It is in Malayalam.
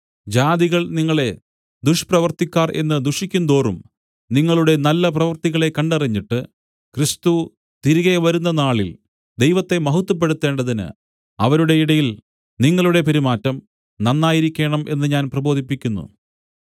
ജാതികൾ നിങ്ങളെ ദുഷ്പ്രവൃത്തിക്കാർ എന്ന് ദുഷിക്കുന്തോറും നിങ്ങളുടെ നല്ല പ്രവൃത്തികളെ കണ്ടറിഞ്ഞിട്ട് ക്രിസ്തു തിരികെ വരുന്ന നാളിൽ ദൈവത്തെ മഹത്വപ്പെടുത്തേണ്ടതിന് അവരുടെ ഇടയിൽ നിങ്ങളുടെ പെരുമാറ്റം നന്നായിരിക്കേണം എന്ന് ഞാൻ പ്രബോധിപ്പിക്കുന്നു